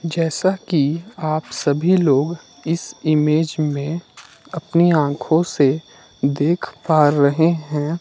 जैसा कि आप सभी लोग इस इमेज में अपनी आंखों से देख पा रहे हैं।